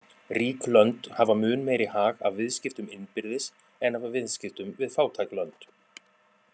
Rík lönd hafa mun meiri hag af viðskiptum innbyrðis en af viðskiptum við fátæk lönd.